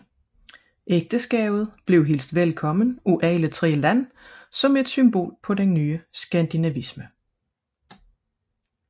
Ægteskabet blev hilst velkommen af alle tre lande som et symbol på den nye skandinavisme